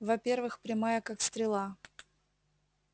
во-первых прямая как стрела